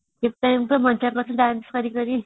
ସେତେବେଳେ ଏମିତେ ମଜା କରୁଥିଲେ dance କରି କରି